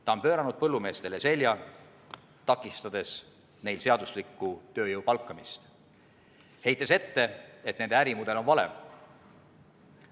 Ta on pööranud põllumeestele selja, takistades neil seadusliku tööjõu palkamist, heites ette, et nende ärimudel on vale.